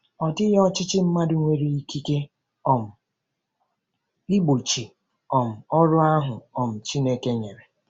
Ọ dịghị ọchịchị mmadụ nwere ikike um igbochi um ọrụ ahụ um Chineke nyere.